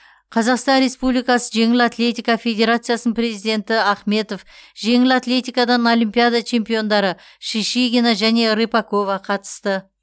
қазақстан республикасы жеңіл атлетика федерациясының президенті ахметов жеңіл атлетикадан олимпиада чемпиондары шишигина және рыпакова қатысты